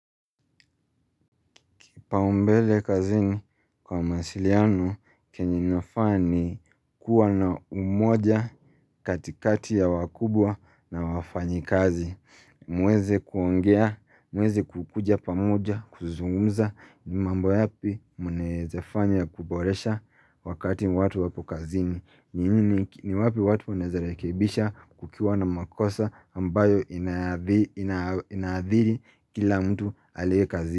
Kipaumbele kazini kwa mawasiliano kenye ninafaa ni kuwa na umoja katikati ya wakubwa na wafanyikazi. Mweze kuongea, mweze kukuja pamoja, kuzungumza ni mambo yapi mnaeza fanya kuboresha wakati watu wapo kazini. Ni wapi watu munaezea rekebisha kukiwa na makosa ambayo inaadhiri kila mtu alie kazini.